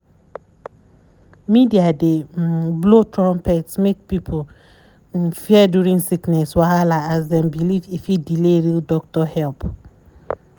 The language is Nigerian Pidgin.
media dey um blow trumpet make people um fear during sickness wahala as dem believe e fit delay real doctor help.